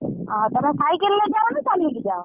ଓହୋ ତମେ cycle ରେ ଯାଅ ନା ଚାଲିକି ଯାଅ?